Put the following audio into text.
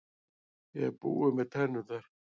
Ég er búinn með tennurnar.